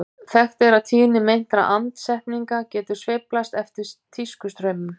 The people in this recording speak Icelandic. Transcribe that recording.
Þekkt er að tíðni meintra andsetninga getur sveiflast eftir tískustraumum.